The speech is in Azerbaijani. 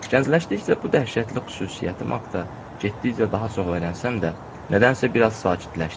Gəncləşdikcə bu dəhşətli xüsusiyyətim haqda getdikcə daha çox öyrənsəm də, nədənsə biraz sakitləşdim.